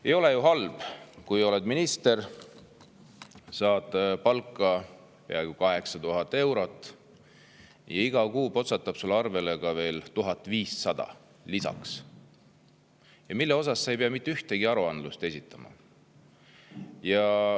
Ei ole ju halb, kui oled minister, saad palka peaaegu 8000 eurot ja iga kuu potsatab sulle arvele veel 1500 eurot, mille kohta sa ei pea mitte ühtegi esitama.